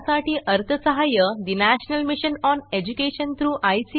यासाठी अर्थसहाय्य national mission on education through I